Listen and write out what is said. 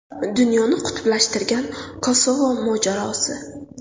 Dunyoni qutblashtirgan Kosovo mojarosi.